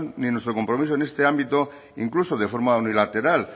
ni nuestro compromiso en este ámbito incluso de forma unilateral